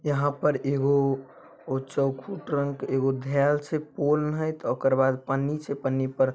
यहां पर एगो चोखुठ रंग के एगो धैएल छै ओकर बाद पन्नी छै पन्नी पर---